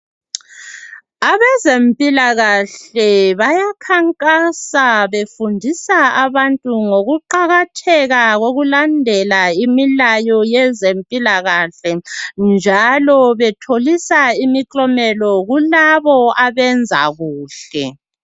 Abezempilakahle bayakhankasa befundisa abantu ngokuqakatheka kokulandela imilayo yezempilakahle, njalo betholisa imiklomelo kulabo abenza kuhle.